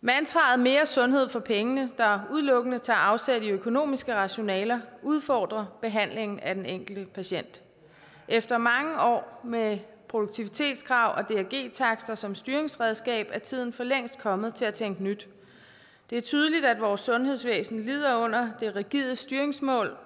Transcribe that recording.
mantraet mere sundhed for pengene der udelukkende tager afsæt i økonomiske rationaler udfordrer behandlingen af den enkelte patient efter mange år med produktivitetskrav og drg takster som styringsredskab er tiden for længst kommet til at tænke nyt det er tydeligt at vores sundhedsvæsen lider under det rigide styringsmål